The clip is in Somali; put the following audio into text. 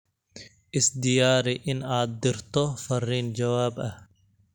isdiyari in aad dirto fariin jawaab ah